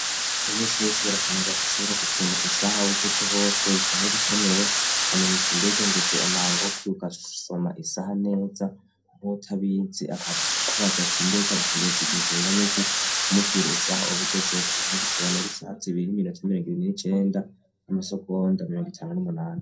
Imisi yosi barakenewako shobora gusoma isaha bugeze hose isahe bikenewe ukamenya uta imbega ngeze amangoko yougo asoma isaha neza nk utabizi akubazi ati imbega butugezi igisinganiki umubwira isaha obugezeko nkubutubonarisahazibirimi rotaimragirini n'icenda n'amasogo ndamirongo itane n'umunane.